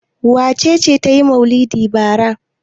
Wace ce ta yi maulidi bara?